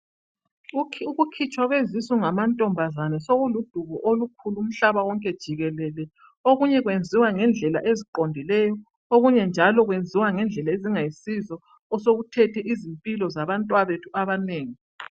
Ukukhitshwa kwezisu ngamantombazana sokuludubo olukhulu umhlaba wonke jikelele. Okunye kwenziwa ngendlela eziqondileyo, okunyenjalo kwenziwa ngendlela ezingayisizo osokuthethe izimpilo zabantwabethu abanengi.